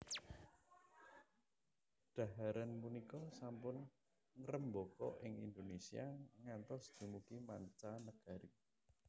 Dhaharan punika sampun ngrembaka ing Indonésia ngantos dumugi mancanegari